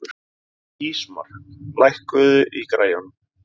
Ísmar, lækkaðu í græjunum.